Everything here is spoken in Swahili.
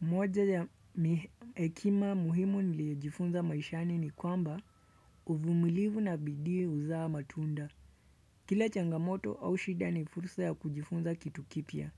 Moja ya hekima muhimu niliyoifunza maishani ni kwamba uvumilivu na bidii huzaa matunda. Kila changamoto au shida ni fursa ya kujifunza kitu kipya.